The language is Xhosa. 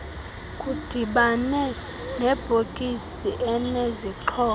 kudibane nebhokisi enezixhobo